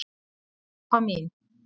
Elfa mín!